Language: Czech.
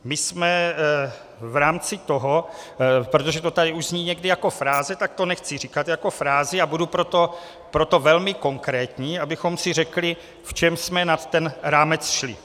My jsme v rámci toho, protože to tady už zní někdy jako fráze, tak to nechci říkat jako frázi, a budu proto velmi konkrétní, abychom si řekli, v čem jsme nad ten rámec šli.